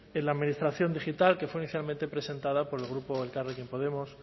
en la administración digital que fue inicialmente presentada por el grupo elkarrekin podemos